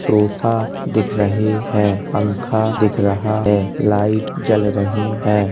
Sofa दिख रहे हैं। पंखा दिख रहा है। लाइट जल रहीं है।